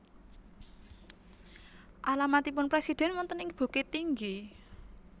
Alamatipun presiden wonten ing Bukittinggi?